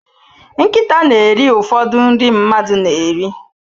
Nkịta na eri ụfọdụ nri mmadụ na eri